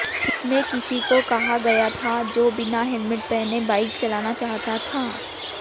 इसमें किसी को कहा गया था जो बिना हेलमेट पहने बाइक चलाना चाहता था